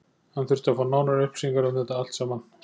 Hann þurfti að fá nánari upplýsingar um þetta allt saman.